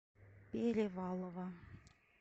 перевалова